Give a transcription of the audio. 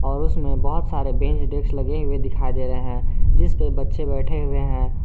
और उसमें बहुत सारे बेंच डेस्क लगे हुए दिखाई दे रहे हैं जिस पे बच्चे बैठे हुए है।